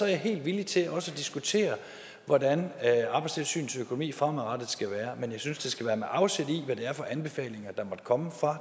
jeg helt villig til også at diskutere hvordan arbejdstilsynets økonomi fremadrettet skal være men jeg synes det skal være med afsæt i hvad det er for anbefalinger der måtte komme fra